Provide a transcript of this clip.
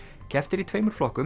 keppt er í tveimur flokkum